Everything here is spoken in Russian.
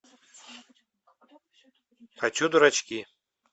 хочу дурачки